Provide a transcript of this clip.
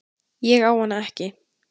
Ég á hana ekki.